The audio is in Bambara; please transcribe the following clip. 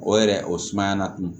O yɛrɛ o sumaya latunu